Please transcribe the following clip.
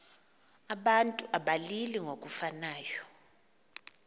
abantu abalili ngokufanayo